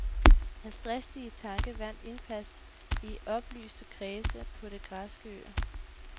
Hans dristige tanke vandt indpas i oplyste kredse på de græske øer.